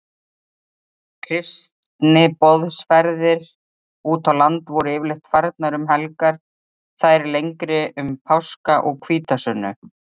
Kristniboðsferðir útá land voru yfirleitt farnar um helgar, þær lengri um páska og hvítasunnu.